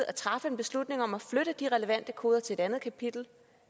at træffe en beslutning om at flytte de relevante koder til et andet kapitel